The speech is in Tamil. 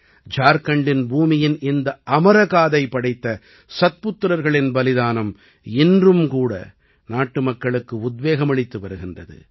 ஜார்க்கண்டின் பூமியின் இந்த அமரகாதை படைத்த சத்புத்திரர்களின் பலிதானம் இன்றும் கூட நாட்டுமக்களுக்கு உத்வேகமளித்து வருகின்றது